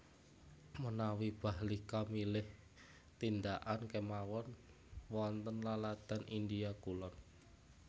Menawi Bahlika milih tindakan kemawon wonten laladan India kulon